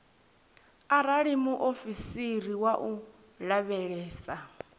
arali muofisiri wa u lavhelesa